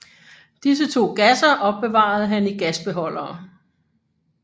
Disse to gasser opbevarede han i gasbeholdere